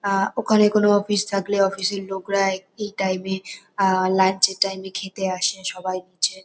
আহ ওখানে কোনো অফিস থাকলে অফিস এর লোকরা এই টাইম এ আহ লাঞ্চ টাইম এ খেতে আসে। সবাই হচ্ছে--